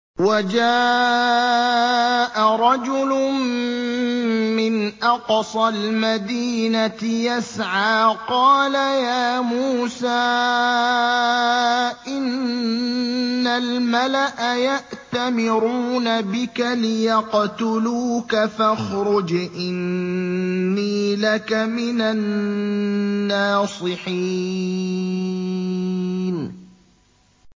وَجَاءَ رَجُلٌ مِّنْ أَقْصَى الْمَدِينَةِ يَسْعَىٰ قَالَ يَا مُوسَىٰ إِنَّ الْمَلَأَ يَأْتَمِرُونَ بِكَ لِيَقْتُلُوكَ فَاخْرُجْ إِنِّي لَكَ مِنَ النَّاصِحِينَ